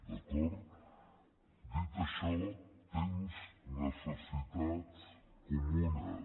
d’acord dit això temps necessitats comunes